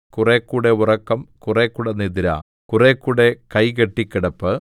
കുറേക്കൂടെ ഉറക്കം കുറേക്കൂടെ നിദ്ര കുറേക്കൂടെ കൈകെട്ടിക്കിടപ്പ്